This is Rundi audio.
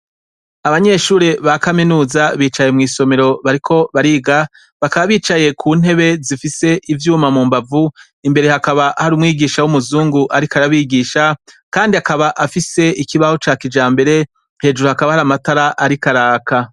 Abanyeshure ba kaminuza bicaye mwisomero bariko bariga bakaba bicaye kuntebe zifise ivyuma mumbavu imbere hakaba hari umwigisha wumuzungu ariko arabigisha kandi akaba afise ikibaho ca kijambere hejuru hakaba hariho amatara ariko araka